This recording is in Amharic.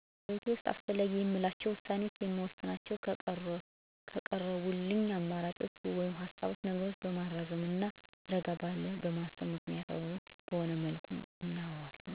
በህይወቴ ውስጥ አስፈላጊ የምላቸውን ውሳኔዎች የምወስናቸው ከቀረቡልኝ አማራጮች ወይም ሀሳቦች ነገሮችን በማመዛዘንና ረጋ ብዬ በማሰብ ምክንያታዊ በሆነ መልኩ እወስናለሁ